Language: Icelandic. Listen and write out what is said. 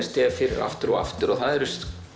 stef fyrir aftur og aftur og það eru